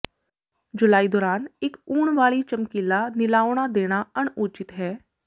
ਜੁਲਾਈ ਦੌਰਾਨ ਇੱਕ ਉਣ ਵਾਲੀ ਚਮਕੀਲਾ ਨੀਲਾਉਣਾ ਦੇਣਾ ਅਣਉਚਿਤ ਹੈ